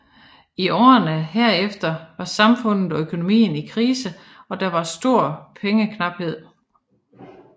I årene herefter var samfundet og økonomien i krise og der var stor pengeknaphed